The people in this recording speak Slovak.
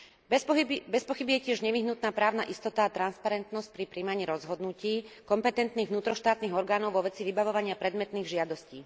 Bezpochyby je tiež nevyhnutná právna istota a transparentnosť pri prijímaní rozhodnutí kompetentných vnútroštátnych orgánov vo veci vybavovania predmetných žiadostí.